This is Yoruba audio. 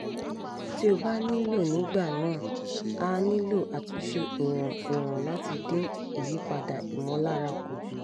tí ó bá nílò nígbà náà a nílò àtúnṣe ìwọ̀n ìwọ̀n láti dín ìyípadà ìmọ̀lára kù